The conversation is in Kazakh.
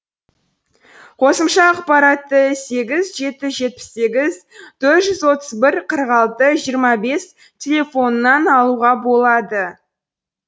қосымша ақпаратты сегіз жеті жүз жетпіс сегіз төрт жүз отыз бір қырық алты жиырма бес телефонынан алуға болады